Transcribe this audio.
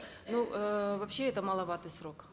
ну э вообще это маловатый срок